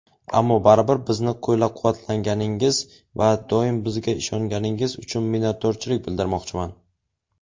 ammo baribir bizni qo‘llab-quvvatlaganingiz va doim bizga ishonganingiz uchun minnatdorchilik bildirmoqchiman.